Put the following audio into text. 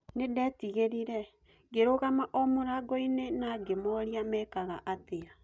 Nĩndetigerire..ngĩrũgama o mũrangoine na ngĩmoria mekaga atĩa